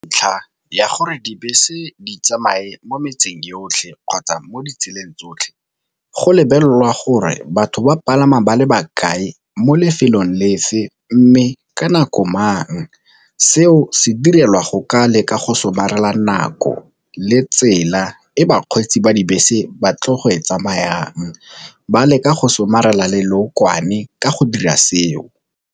Ntlha ya gore dibese di tsamaye mo metseng yotlhe kgotsa mo ditseleng tsotlhe, go lebelela gore batho ba palama ba le bakae mo lefelong le Fe, mme ka nako mang. Seo se direlwa go ka leka go somarela nako le tsela e bakgweetsi ba dibese ba tle go e tsamayang ba leka go somarela le leokwane ka go dira seo.